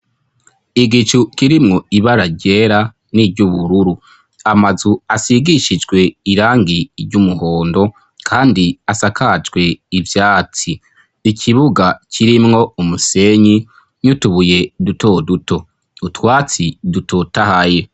igicu kirimwo ibara ryera niry'ubururu amazu asigishijwe irangi ry'umuhondo kandi asakajwe ivyatsi ikibuga kirimwo umusenyi n'utubuye duto duto utwatsi dutotahaye